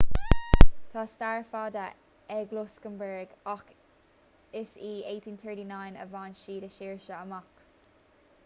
tá stair fada ag lucsamburg ach is i 1839 a bhain siad a saoirse amach